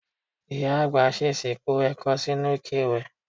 Màmá àgbà s̩ès̩ì po è̩ko̩ sínú ike ìwẹ̀.